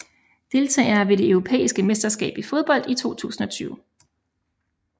Deltagere ved det europæiske mesterskab i fodbold 2020